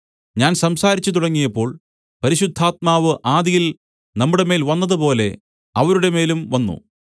ഞാൻ സംസാരിച്ചു തുടങ്ങിയപ്പോൾ പരിശുദ്ധാത്മാവ് ആദിയിൽ നമ്മുടെമേൽ വന്നതുപോലെ അവരുടെമേലും വന്നു